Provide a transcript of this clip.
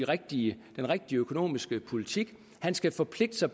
rigtige økonomiske politik og han skal forpligte sig